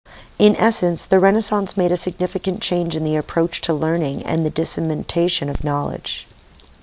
in essence the renaissance made a significant change in the approach to learning and the dissemination of knowledge